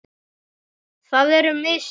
Það eru mistök.